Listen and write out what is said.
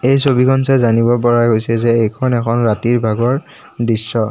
এই ছবিখন চাই জানিব পৰা গৈছে যে এইখন এখন ৰাতিৰ ভাগৰ দৃশ্য।